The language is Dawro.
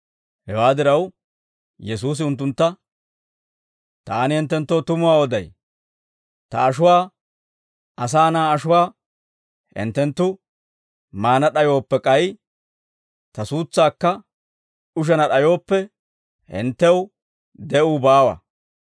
Hewaa diraw, Yesuusi unttuntta, «Taani hinttenttoo tumuwaa oday; ta ashuwaa, Asaa Na'aa ashuwaa, hinttenttu maana d'ayooppe, k'ay ta suutsaakka ushana d'ayooppe, hinttew de'uu baawa.